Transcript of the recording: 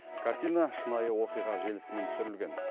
картина шынайы оқиға желісімен түсірілген